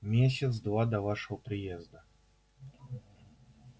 месяц два до вашего приезда